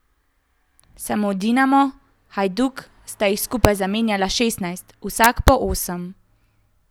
Samo Dinamo in Hajduk sta jih skupaj zamenjala šestnajst, vsak po osem.